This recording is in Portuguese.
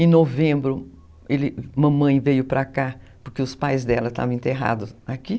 Em novembro, ele, mamãe veio para cá, porque os pais dela estavam enterrados aqui.